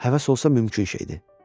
Həvəs olsa mümkün şeydir.